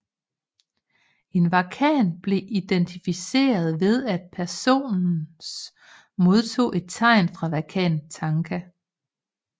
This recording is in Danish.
En wakan blev identificeret ved at personens modtog et tegn fra Wakan Tanka